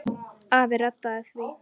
Afi reddaði því.